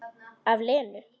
Af Lenu.